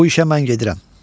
Bu işə mən gedirəm.